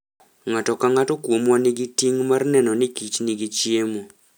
Ng'ato ka ng'ato kuomwa nigi ting' mar neno ni kich nigi chiemo.